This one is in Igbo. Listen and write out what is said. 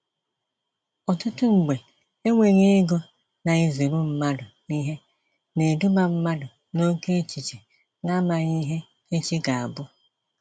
Ọtụtụ mgbe, enweghi ego na-ezuru mmadụ ihe, na-eduba mmadụ n'oke echiche na amaghị ihe echi ga-abụ.